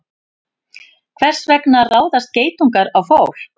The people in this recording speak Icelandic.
Hvers vegna ráðast geitungar á fólk?